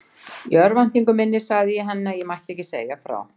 Í örvæntingu minni sagði ég henni að ég mætti ekki segja frá.